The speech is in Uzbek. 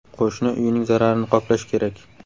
Qo‘shni uyining zararini qoplash kerak.